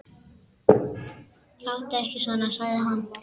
Láttu ekki svona, sagði hann.